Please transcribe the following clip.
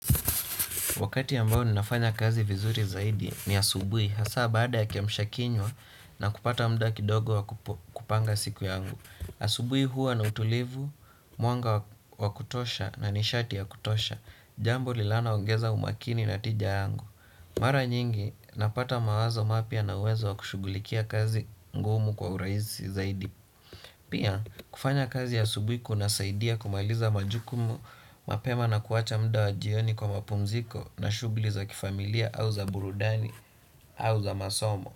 Wakati ambao ninafanya kazi vizuri zaidi ni asubuhi hasa baada ya kiamsha kinywa na kupata muda kidogo wa kupanga siku yangu. Asubuhi huwa na utulivu, mwanga wa kutosha na nishati ya kutosha, jambo linalo ongeza umakini na tija yangu. Mara nyingi napata mawazo mapya na uwezo wa kushughulikia kazi ngumu kwa urahisi zaidi. Pia kufanya kazi asubuhi kunasaidia kumaliza majukumu mapema na kuacha muda wa jioni kwa mapumziko na shughuli za kifamilia au za burudani au za masomo.